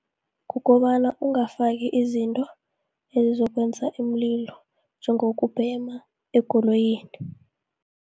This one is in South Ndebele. Kukobana ongafaki izinto, ezizokwenza iimlilo, njengokubhema ekoloyini.